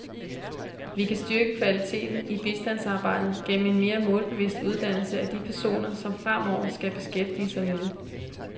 Vi kan styrke kvaliteten i bistandsarbejdet gennem en mere målbevidst uddannelse af de personer, som fremover skal beskæftige sig med det.